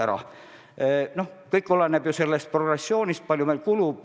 Aga kõik oleneb ju sellest, kui palju meil midagi kulub.